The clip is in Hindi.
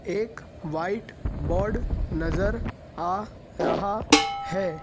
एक व्हाइट बोर्ड नजर आ रहा है।